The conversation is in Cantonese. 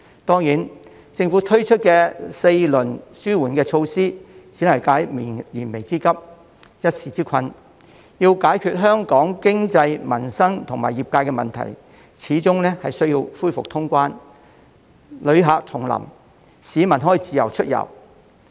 當然，政府推出的4輪紓緩措施只能解燃眉之急、一時之困，要解決香港經濟、民生及業界的問題，始終需要恢復通關、旅客重臨、市民可以自由出遊。